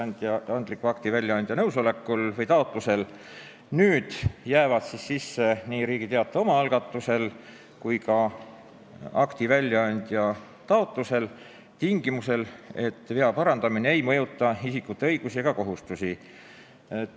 Nüüd jäävad seadusesse sisse ilmselgete ebatäpsuste parandamise võimalused nii Riigi Teataja oma algatusel kui ka akti andja taotlusel, tingimusel, et vea parandamine ei mõjuta isikute õigusi ega kohustusi.